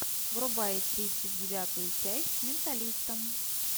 врубай тридцать девятую часть менталиста